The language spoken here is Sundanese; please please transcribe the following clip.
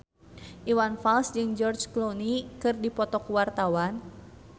Iwan Fals jeung George Clooney keur dipoto ku wartawan